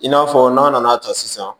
I n'a fɔ n'a nana ta sisan